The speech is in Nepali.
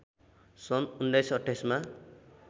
सन् १९२८ मा